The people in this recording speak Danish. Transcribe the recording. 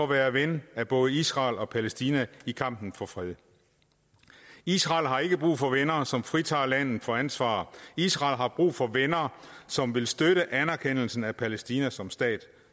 være ven af både israel og palæstina i kampen for fred israel har ikke brug for venner som fritager landet for ansvar israel har brug for venner som vil støtte anerkendelsen af palæstina som stat